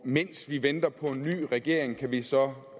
mens vi venter på en ny regering kan vi så